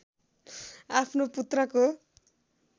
आफ्नो पुत्रको